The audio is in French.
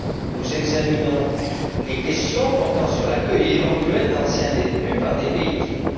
Nous examinons les questions portant sur l'accueil éventuel d'anciens détenus par des pays tiers.